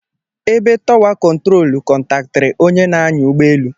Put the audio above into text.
Ebe táwà kontrol kọntaktịri onye na-anya ụgbọelu.